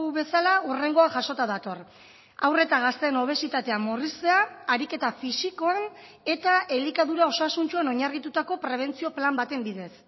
bezala hurrengoa jasota dator haur eta gazteen obesitatea murriztea ariketa fisikoa eta elikadura osasuntsuan oinarritutako prebentzio plan baten bidez